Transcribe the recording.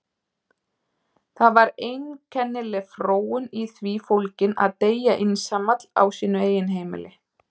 Það var einkennileg fróun í því fólgin að deyja einsamall á sínu eigin heimili.